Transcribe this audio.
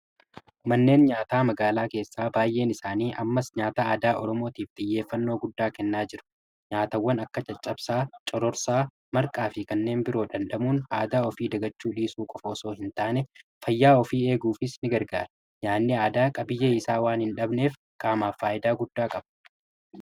Manneen nyaataa magaalaa keessaa baay'een isaanii ammaas nyaata aadaa Oromootiif xiyyeeffannoo guddaa kennaa jiru. Nyaatawwan akka caccabsaa, cororsaa, marqaa fi kanneen biroo dhandhamuun aadaa ofii dagachuu dhiisuu qofa ossoo hin taane fayyaa ofii eeguufis ni gargaara nyaanni aadaa qabiyyee isaa waan hin dhabneef qaamaaf faayidaa guddaa qaba.